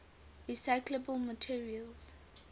recyclable materials